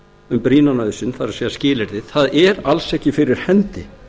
um brýna nauðsyn það er skilyrðið það er alls ekki fyrir hendi